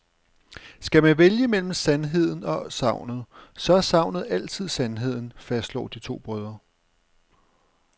Skal man vælge mellem sandheden og sagnet, så er sagnet altid sandheden, fastslår de to brødre.